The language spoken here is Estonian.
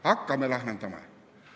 Hakkame lahendama.